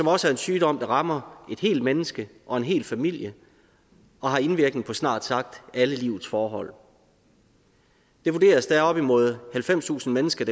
er også en sygdom der rammer et helt menneske og en hel familie og har indvirkning på snart sagt alle livets forhold det vurderes er op mod halvfemstusind mennesker